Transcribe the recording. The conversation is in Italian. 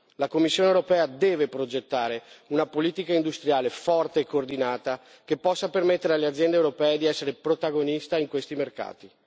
La Commissione europea deve progettare una politica industriale forte e coordinata che possa permettere alle aziende europee di essere protagoniste in questi mercati.